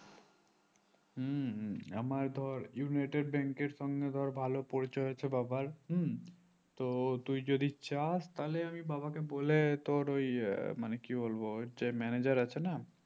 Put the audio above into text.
হুম আমার ধর United Bank এর সঙ্গে ধর ভালো পরিচয় আছে বাবার হুম তো তুই যদি চাস তাহলে আমি বাবা কে বলে তোর ওই মানে কি বলবো ওর যে manager আছে না